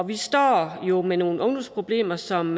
vi står jo med nogle ungdomsproblemer som